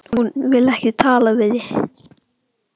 Hún vill ekki tala við þig!